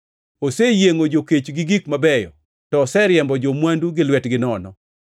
Oseyiengʼo jokech gi gik mabeyo to oseriembo jo-mwandu gi lwetgi nono.